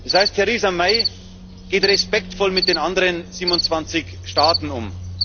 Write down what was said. Das heißt, Theresa May geht respektvoll mit den anderen 27 Staaten um.